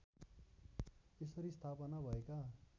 यसरी स्थापना भएका